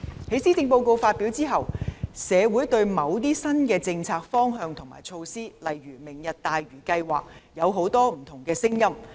在施政報告發表後，社會對某些新政策方向和措施，例如"明日大嶼"計劃，有很多不同的聲音。